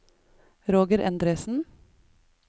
Roger Endresen